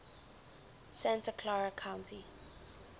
santa clara county